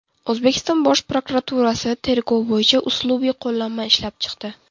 O‘zbekiston Bosh prokuraturasi tergov bo‘yicha uslubiy qo‘llanma ishlab chiqdi.